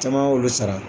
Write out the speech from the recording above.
Caman y'olu sara